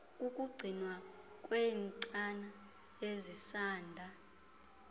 kukugcinwa kweentsana ezisanda